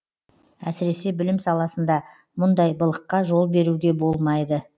әсіресе білім саласында мұндай былыққа жол беруге болмайды